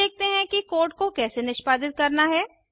अब देखते हैं कि कोड को कैसे निष्पादित करना है160